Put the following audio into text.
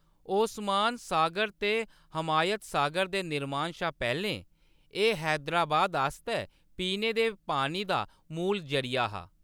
ओस्मान सागर ते हमायत सागर दे निर्मान शा पैह्‌‌‌लें एह्‌‌ हैदराबाद आस्तै पीने दे पानी दा मूल जरिया हा।